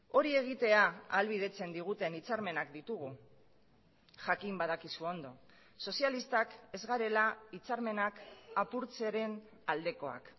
hori egitea ahalbidetzen diguten hitzarmenak ditugu jakin badakizu ondo sozialistak ez garela hitzarmenak apurtzearen aldekoak